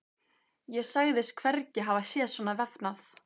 Ég sagðist hvergi hafa séð svona vefnað.